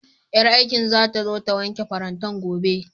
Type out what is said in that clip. Ƴar aikin zata zo ta wanke farantan gobe